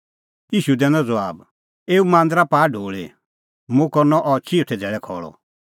ईशू दैनअ ज़बाब एऊ मांदरा पाआ ढोल़ी मुंह करनअ अह चिऊथै धैल़ै खल़अ